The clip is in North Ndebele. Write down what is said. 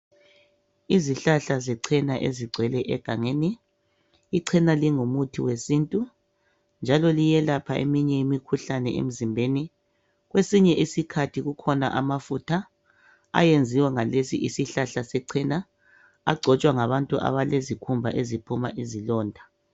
Izihlahla zecena ezigcwele egangeni . Icena lingumuthi wesintu njalo liyelapha eminye imikhuhlane emzimbeni. Kwesinye isikhathi kukhona amafutha ayenziwa ngalesi isihlahla secena, agcotshwa ngabantu abalezikhumba eziphuma izilonda.